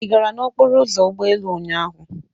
Ị gara n'okporo ụzọ ụgbọelu ụnyaahụ?